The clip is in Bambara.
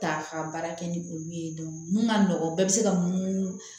Ta ka baara kɛ ni olu ye mun ka nɔgɔn bɛɛ bɛ se ka mun